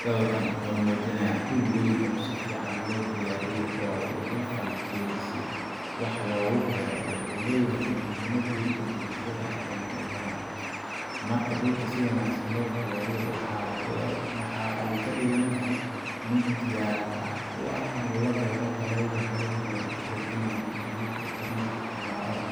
Sawirkan oo muujinaya dhul weyn oo si fiican loo diyaariyey oo loo falkiyay si wax loogu beero, wuxuu leeyahay muhiimad weyn oo bulshada u ah dhinacyo badan. Marka dhul si wanaagsan loo diyaariyo, waxa ay ka dhigeysaa mid diyaar u ah in la beero dalagyada kala duwan sida galleyda, digirta, bariiska ama khudradaha.